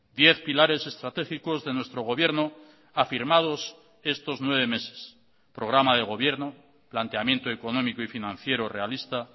diez pilares estratégicos de nuestro gobierno afirmados estos nueve meses programa de gobierno planteamiento económico y financiero realista